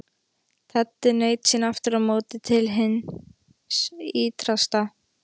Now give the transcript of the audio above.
Teddi naut sín aftur á móti til hins ýtrasta.